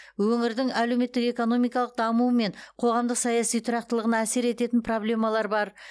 өңірдің әлеуметтік экономикалық дамуы мен қоғамдық саяси тұрақтылығына әсер ететін проблемалар бар